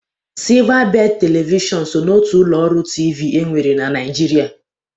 Silvabedị Televishọn so n'otu ụlọ ọrụ TV e nwere na Naịjirịa.